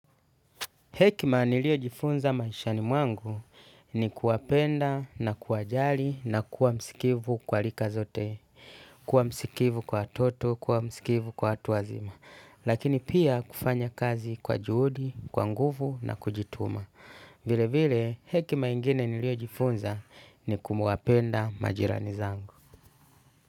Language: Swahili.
Hekima niliyojifunza maishani mwangu ni kuwapenda na kuwajali na kuwa msikivu kwa rika zote. Kuwa msikivu kwa watoto, kuwa msikivu kwa watu wazima. Lakini pia kufanya kazi kwa juhudi, kwa nguvu na kujituma. Vile vile hekima ingine niliojifunza ni kumuwapenda majirani zangu.